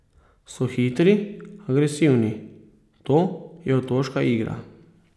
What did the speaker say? So hitri, agresivni, to je otoška igra.